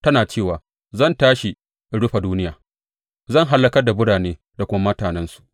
Tana cewa, Zan tashi in rufe duniya; zan hallakar da birane da kuma mutanensu.’